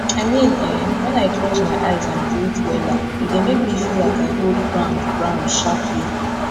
i mean eh wen i close my eyes and breathe wella e dey make me feel like i hold ground ground sharpli